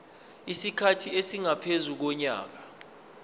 isikhathi esingaphezu konyaka